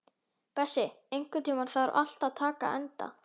Bessi, einhvern tímann þarf allt að taka enda.